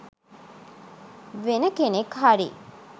වෙන කෙනෙක් හරි